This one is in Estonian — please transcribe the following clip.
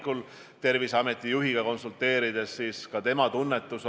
Kui vaadata Euroopa riikide näiteid, siis on kehtestatud erinevad piirid välis- ja siseürituste jaoks.